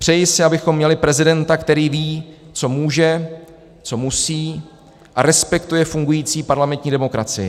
Přeji si, abychom měli prezidenta, který ví, co může, co musí a respektuje fungující parlamentní demokracii.